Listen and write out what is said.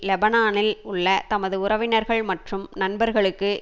லெபனானில் உள்ள தமது உறவினர்கள் மற்றும் நண்பர்களுக்கு